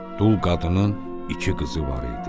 Dul qadının iki qızı var idi.